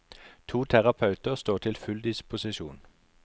To terapeuter står til full disposisjon.